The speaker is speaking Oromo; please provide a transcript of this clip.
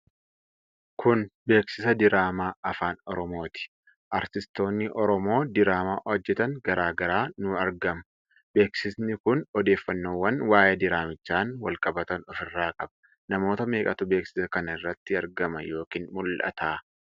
Kun beeksisa diraamaa Afaan Oromooti. Artistoonni Oromoo diraamaa hojjatan garaa garaa ni argamu. Beeksisi kun odeeffannoowwan waa'ee diraamichaan walqabatan of irraa qaba. Namoota meeqatu beeksiisa kan irratti argama yookin mul'ata?